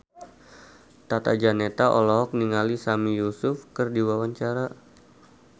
Tata Janeta olohok ningali Sami Yusuf keur diwawancara